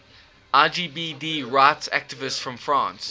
lgbt rights activists from france